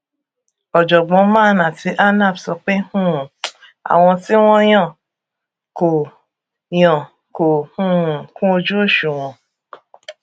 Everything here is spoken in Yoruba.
ọjọgbọn man àti anap sọ pé um àwọn tí wọn yàn kò yàn kò um kúnojúòṣùwọn